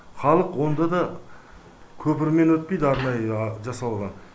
халық онда да көпірмен өтпейді арнайы жасалған